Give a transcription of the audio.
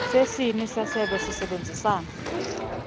sesini sesebe sisebenzisana